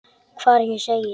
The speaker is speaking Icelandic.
Hvar ég sé.